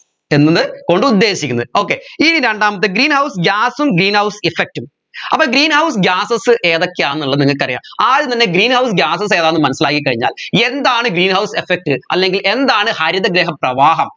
എന്നത് കൊണ്ട് ഉദ്ദേശിക്കുന്നത് okay ഇനി രണ്ടാമത്തെ greenhouse gas ഉം greenhouse effect ഉം അപ്പോ greenhouse gases ഏതൊക്കെയാണെന്നുള്ള നിങ്ങക്കറിയാ ആദ്യം തന്നെ greenhouse gases ഏതാണെന്ന് മനസ്സിലാക്കി കഴിഞ്ഞാൽ എന്താണ് greenhouse effect അല്ലെങ്കിൽ എന്താണ് ഹരിതഗൃഹ പ്രവാഹം